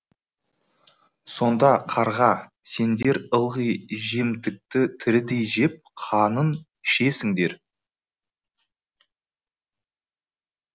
сонда қарға сендер ылғи жемтікті тірідей жеп қанын ішесіңдер